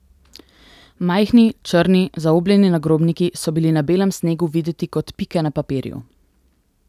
Majhni, črni, zaobljeni nagrobniki so bili na belem snegu videti kot pike na papirju.